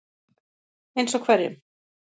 Eins og hverjum?